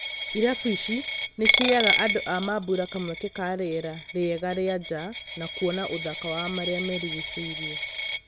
Irabu ici nĩciheaga andũ a mambũra kamweke ka rĩera rĩega rĩa njaa na kuona ũthaka wa marĩa marigicĩirie.